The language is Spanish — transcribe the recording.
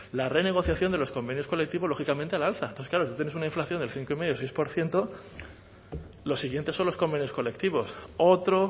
la renegociación de los convenios colectivos lógicamente al alza entonces claro si tú tienes una inflación del cinco coma cinco seis por ciento los siguientes son los convenios colectivos otro